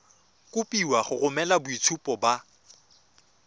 kopiwa go romela boitshupo ba